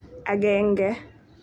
Akenge.